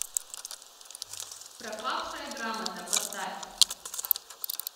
пропавшая грамота поставь